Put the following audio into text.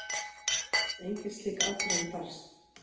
Engin slík ákvörðun barst